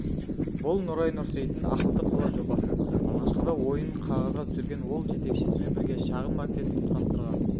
бұл нұрай нұрсейіттің ақылды қала жобасы алғашқыда ойын қағазға түсірген ол жетекшісімен бірге шағын макет құрастырған